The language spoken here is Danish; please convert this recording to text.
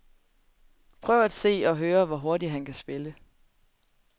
Prøv at se og høre, hvor hurtigt han kan spille.